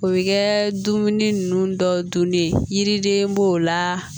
O bɛ kɛ dumuni ninnu dɔw dunni ye yiriden b'o la